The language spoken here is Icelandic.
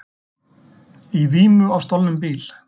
Í vímu á stolnum bíl